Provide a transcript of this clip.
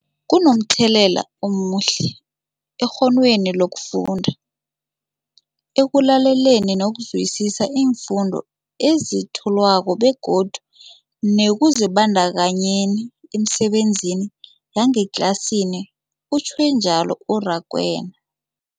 Kunomthelela omuhle ekghonweni lokufunda, ekulaleleni nokuzwisiswa iimfundo ezethulwako begodu nekuzibandakanyeni emisebenzini yangetlasini, utjhwe njalo u-Rakwena.